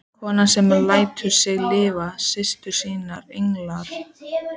Konu sem lætur sig líf systur sinnar engu skipta.